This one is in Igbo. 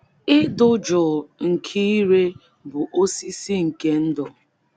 Ịdị jụụ nke ire bụ osisi nke ndụ.